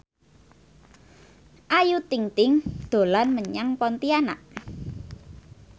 Ayu Ting ting dolan menyang Pontianak